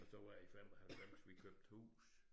Og så var det i 95 vi købte hus